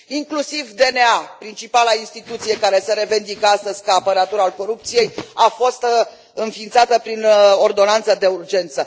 Inclusiv DNA, principala instituție care se revendică astăzi ca apărător al corupției, a fost înființată prin ordonanță de urgență.